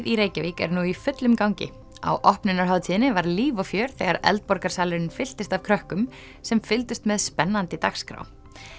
í Reykjavík er nú í fullum gangi á opnunarhátíðinni var líf og fjör þegar fylltist af krökkum sem fylgdust með spennandi dagskrá